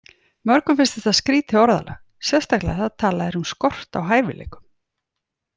Mörgum finnst þetta skrýtið orðalag, sérstaklega þegar talað er um skort á hæfileikum.